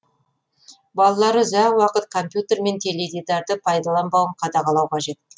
балалары ұзақ уақыт компьютер мен теледидарды пайдаланбауын қадағалау қажет